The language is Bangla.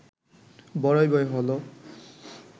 বড়ই ভয় হল